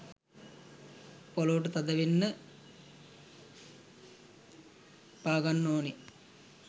පොලවට තද වෙන්න පාගන්න ඕන.